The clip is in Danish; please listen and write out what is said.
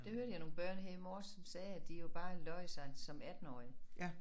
Det hørte jeg nogle børn her i morges som sagde at de jo bare løj sig som 18-årige